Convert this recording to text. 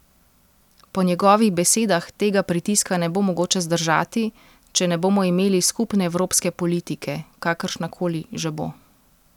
Po njegovih besedah tega pritiska ne bo mogoče zdržati, če ne bomo imeli skupne evropske politike, kakršnakoli že bo.